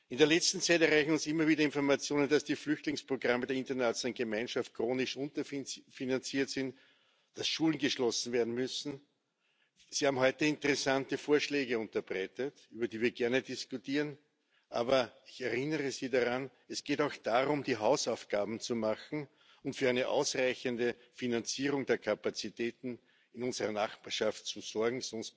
In der letzten Zeit erreichen uns immer wieder Informationen, dass die Flüchtlingsprogramme der internationalen Gemeinschaft chronisch unterfinanziert sind, dass Schulen geschlossen werden müssen. Sie haben heute interessante Vorschläge unterbreitet, über die wir gerne diskutieren. Aber ich erinnere Sie daran Es geht auch darum, die Hausaufgaben zu machen und für eine ausreichende Finanzierung der Kapazitäten in unserer Nachbarschaft zu sorgen.